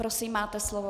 Prosím, máte slovo.